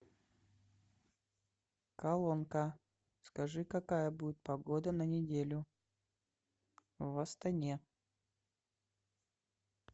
колонка скажи какая будет погода на неделю в астане